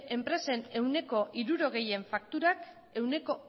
enpresen ehuneko hirurogeien fakturak ehuneko